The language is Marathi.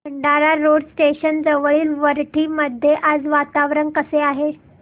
भंडारा रोड स्टेशन जवळील वरठी मध्ये आज वातावरण कसे आहे